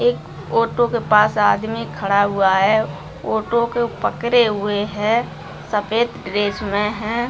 एक ऑटो के पास आदमी खड़ा हुआ है ऑटो को पकड़े हुए है सफेद ड्रेस मे है।